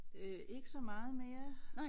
Øh ikke så meget mere